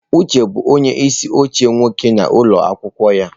Uche bụ onye isi oche nwoke na ụlọ akwụkwọ ya.